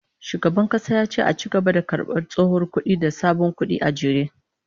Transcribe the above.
Shugaban kasa ya ce a ci gaba da karbar tsohon kudi da sabon kudi a jere